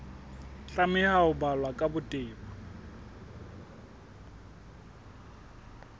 tlameha ho balwa ka botebo